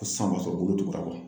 Ko san b'a sɔrɔ ko bolo tugu la